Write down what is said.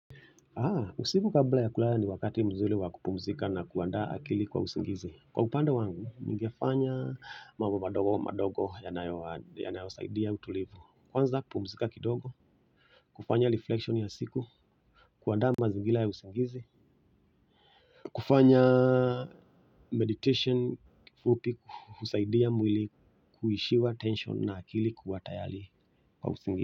Usiku kabla ya kulala ni wakati mzuri wakupumzika na kuandaa akili kwa usingizi. Kwa upande wangu, nigefanya mambo madogo madogo yanayosaidia utulivu. Kwanza, pumzika kidogo. Kufanya rifulekishoni ya siku. Kuandaa mazingira ya usingizi. Kufanya meditation kifupi husaidia mwili kuishiwa tension na akili kuwa tayari kwa usingizi.